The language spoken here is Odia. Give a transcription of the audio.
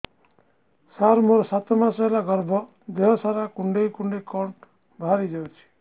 ସାର ମୋର ସାତ ମାସ ହେଲା ଗର୍ଭ ଦେହ ସାରା କୁଂଡେଇ କୁଂଡେଇ କଣ ବାହାରି ଯାଉଛି